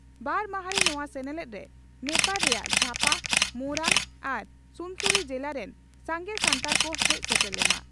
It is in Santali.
ᱵᱟᱨ ᱢᱟᱦᱟᱸᱨᱤ ᱱᱚᱣᱟ ᱥᱮᱱᱮᱞᱮᱫ ᱨᱮ ᱱᱮᱯᱟᱲ ᱨᱮᱭᱟᱜ ᱡᱷᱟᱯᱟ, ᱢᱳᱨᱟᱝ ᱟᱨ ᱥᱩᱱᱥᱩᱨᱤ ᱡᱮᱞᱟ ᱨᱮᱱ ᱥᱟᱸᱜᱮ ᱥᱟᱱᱛᱟᱲ ᱠᱚ ᱦᱮᱡ ᱥᱮᱴᱮᱨ ᱞᱮᱱᱟ ᱾